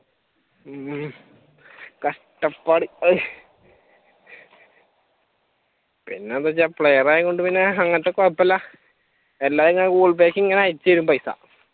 ഉം കഷ്ട്ടപാട് പിന്നെന്താ ഞാൻ player ആയതുകൊണ്ട് അങ്ങനത്തെ കൊഴപ്പമില്ല എല്ലാം ഇങ്ങനെ google പേയിലേക്ക് അയച്ചുതരും പൈസ